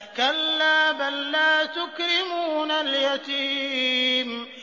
كَلَّا ۖ بَل لَّا تُكْرِمُونَ الْيَتِيمَ